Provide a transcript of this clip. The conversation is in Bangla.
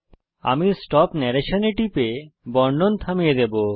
আমি স্টপ নরেশন এ টিপে বর্ণন থামিয়ে দেবো